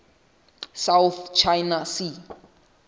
south china sea